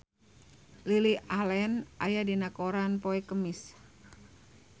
Lily Allen aya dina koran poe Kemis